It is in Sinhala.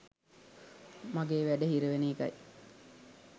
මගේ වැඩ හිරවෙන එකයි